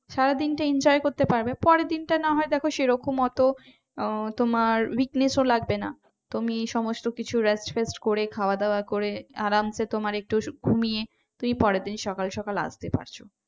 সারাদিনটা enjoy করতে পারবে পরের দিনটা না হয় দেখো সেরকম অত আহ তোমার weakness ও লাগবে না তুমি সমস্ত কিছু rest ফেস্ট করে খাওয়া দাওয়া করে আরামসে তোমার একটু ঘুমিয়ে তুমি পরের দিন সকাল সকাল আসতে পারছ।